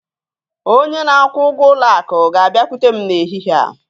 Onye na-akwụ ụgwọ ụlọ akụ ga-abịakwute m n'ehihie a.